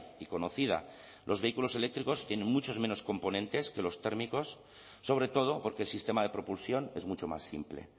y conocida los vehículos eléctricos tienen muchos menos componentes que los térmicos sobre todo porque el sistema de propulsión es mucho más simple